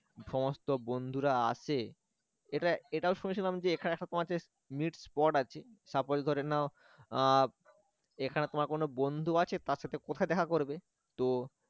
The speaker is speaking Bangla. সমস্ত বন্ধুরা আসছে এটা এটাও শুনেছিলাম যেখানে সব তোমার হচ্ছে meet spot আছে suppose ধরে নাও আহ এখানে তোমার কোন বন্ধু আছে তার সাথে কোথায় দেখা করবে তো